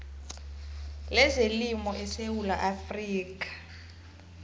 lezelimo esewula afrika